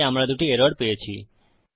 তাই আমরা দুটি এরর পেয়েছি